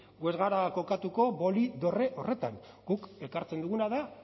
gu ez gara kokatuko boli dorre horretan guk ekartzen duguna da